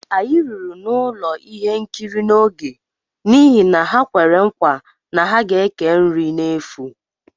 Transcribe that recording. Anyị ruru n'ụlọ ihe nkiri n'oge n'ihi na ha kwere nkwa na ha ga ékè nri nri n'efu